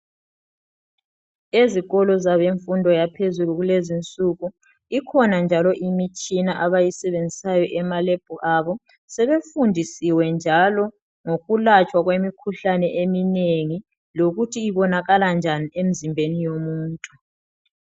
Ezikolo zabemfundo yaphezulu kulezinsuku ikhona njalo imitshina abayisebenzisayo emaLab abo sebefundisiwe njalo ngokulatshwa kwemikhuhlane eminengi lokuthi ibonakala njani emzimbeni yomuntu.